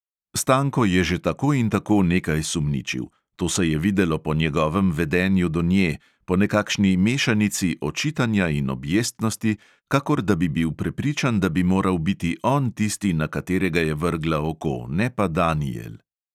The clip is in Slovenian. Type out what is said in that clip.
Stanko je že tako in tako nekaj sumničil: to se je videlo po njegovem vedenju do nje, po nekakšni mešanici očitanja in objestnosti, kakor da bi bil prepričan, da bi moral biti on tisti, na katerega je vrgla oko, ne pa danijel.